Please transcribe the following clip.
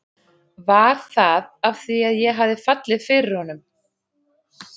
Var það af því að ég hafði fallið fyrir honum?